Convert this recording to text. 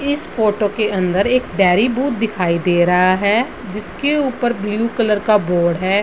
इस फोटो के अन्दर एक डेयरी बूथ दिखाई दे रहा है जिसके ऊपर ब्लू कलर का बोर्ड है।